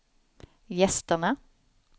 gästerna